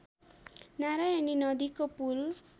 नारायणी नदीको पुल